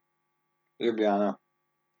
Ljubljana.